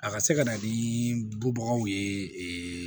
A ka se ka na ni bɔbagaw ye